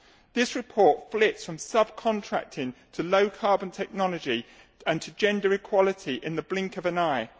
This report flits from subcontracting to low carbon technology and to gender equality in the blink of an eye.